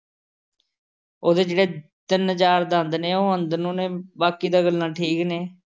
ਉਹਦੇ ਜਿਹੜੇ ਤਿੰਨ ਚਾਰ ਦੰਦ ਨੇ, ਉਹ ਅੰਦਰ ਨੂੰ ਨੇ, ਬਾਕੀ ਤਾਂ ਗੱਲਾਂ ਠੀਕ ਨੇ।